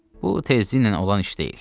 Bu tezliklə olan iş deyil.